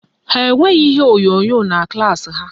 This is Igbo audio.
Ha enweghị ihe onyonyo na klaasị ha